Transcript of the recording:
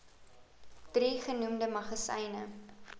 drie genoemde magasyne